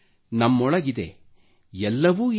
ನಮ್ಮೊಳಗಿದೆ ಎಲ್ಲವೂ ಇದೆ